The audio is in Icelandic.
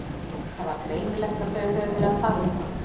Það var greinilegt að þau höfðu verið að tala um hann.